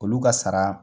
Olu ka sara